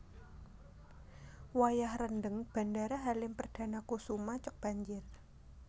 Wayah rendheng Bandara Halim Perdanakusuma cok banjir